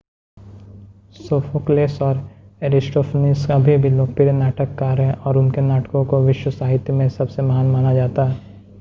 Sophocles और Aristophanes अभी भी लोकप्रिय नाटककार हैं और उनके नाटकों को विश्व साहित्य में सबसे महान माना जाता है